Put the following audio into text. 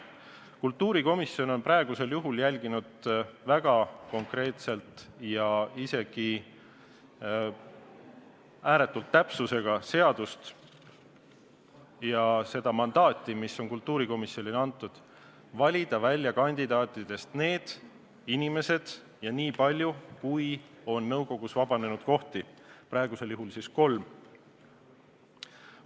Kultuurikomisjon on praegusel juhul järginud väga konkreetselt ja isegi ääretu täpsusega seadust ja mandaati, mis kultuurikomisjonile on antud, valida kandidaatide seast välja sobivad inimesed ja valida neid nii palju, kui on nõukogus vabanenud kohti, praegusel juhul kolm.